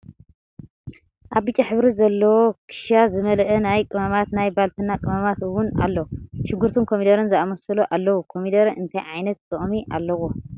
ኣብ ብጫ ሕብሪ ዘለዎ ክሻ ዝመለኣ ናይ ቅመማት ናይ ባልትና ቅመማት እውን ኣሎ። ሽጉርትን ኮሚደረን ዝኣመሰሉ ኣለው። ኮሚደረ እንታይ ዓይነት ጥቅሚ ኣለዎ?